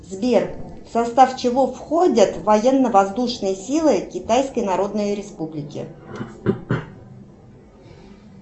сбер в состав чего входят военно воздушные силы китайской народной республики